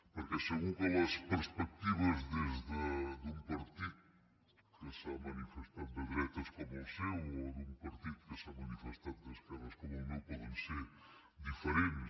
perquè segur que les perspectives des d’un partit que s’ha manifestat de dretes com el seu o d’un partit que s’ha manifestat d’esquerres com el meu poden ser diferents